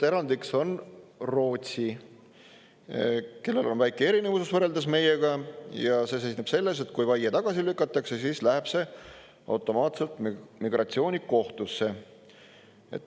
Erandiks on Rootsi, kellel on väike erinevus võrreldes meiega ja see seisneb selles, et kui vaie tagasi lükatakse, siis läheb see automaatselt migratsioonikohtusse.